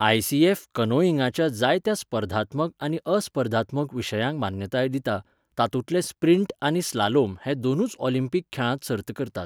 ICF कॅनोइंगाच्या जायत्या स्पर्धात्मक आनी अस्पर्धात्मक विशयांक मान्यताय दिता, तातूंतले स्प्रींट आनी स्लालोम हे दोनूच ऑलिंपीक खेळांत सर्त करतात.